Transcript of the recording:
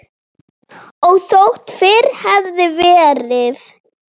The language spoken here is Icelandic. Og þótt fyrr hefði verið.